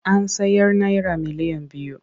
An sayar naira miliyan biyu.